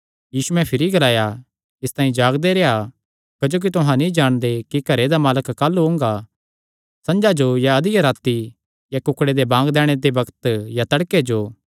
यीशुयैं भिरी ग्लाया इसतांई जागदे रेह्आ क्जोकि तुहां नीं जाणदे कि घरे दा मालक काह़लू ओंगा संझा जो या अधिया राती या कुक्ड़े दे बांग दैणे दे बग्त या तड़के जो